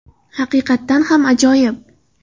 Haqiqatan ham ajoyib!”.